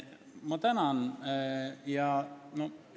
Ma tänan!